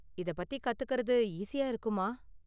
இத பத்தி கத்துக்கறது ஈஸியா இருக்குமா?